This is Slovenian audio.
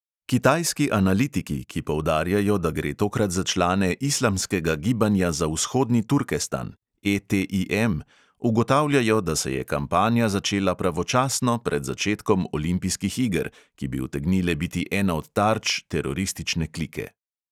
Kitajski analitiki, ki poudarjajo, da gre tokrat za člane islamskega gibanja za vzhodni turkestan ugotavljajo, da se je kampanja začela pravočasno pred začetkom olimpijskih iger, ki bi utegnile biti ena od tarč teroristične klike.